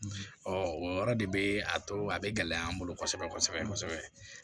o yɔrɔ de bɛ a to a bɛ gɛlɛya an bolo kosɛbɛ kosɛbɛ